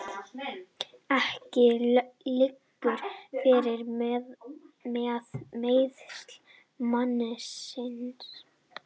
Ekki liggur fyrir með meiðsl mannsins